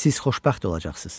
Siz xoşbəxt olacaqsınız.